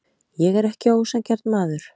Ég er ekki ósanngjarn maður.